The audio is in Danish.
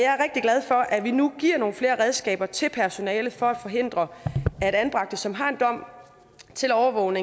glad for at vi nu giver nogle flere redskaber til personalet for at forhindre at anbragte som har en dom om overvåget